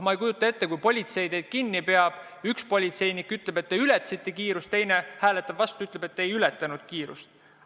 Ma ei kujuta ette, et kui politsei teid kinni peab, siis üks politseinik ütleb, et te ületasite kiirust, teine aga hääletab vastu ja ütleb, et te ei ületanud kiirust.